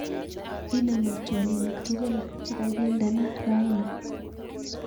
Inemu twolinik tugul chekakindena raini